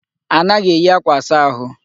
Anaghị eyi akwa asa ahụ.